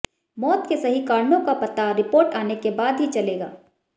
मौत के सही कारणों का पता रिपोर्ट आने के बाद ही चलेगा